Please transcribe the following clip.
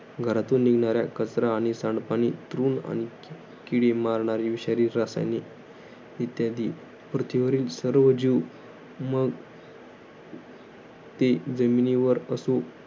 घरातून निघणाऱ्या कचरा आणि सांडपाणीतून आणि किडे मारणारी विषारी रसायने इत्यादी. पृथ्वीवरील सर्व जीव मग ते जमिनीवर असो.